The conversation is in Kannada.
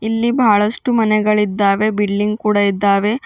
ಇಲ್ಲಿ ಬಹಳಷ್ಟು ಮನೆಗಳಿದ್ದಾವೆ ಬಿಲ್ಡಿಂಗ್ ಕೂಡ ಇದ್ದಾವೆ.